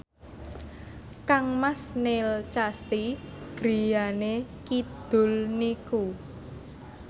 kangmas Neil Casey griyane kidul niku